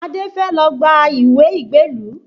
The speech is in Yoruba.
Adé fẹ́ lọ gba ìwé ìgbélú